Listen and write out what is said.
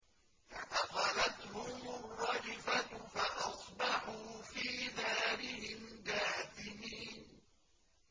فَأَخَذَتْهُمُ الرَّجْفَةُ فَأَصْبَحُوا فِي دَارِهِمْ جَاثِمِينَ